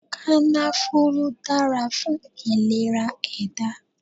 Kànáfùrù dára fún ìlera ẹ̀dá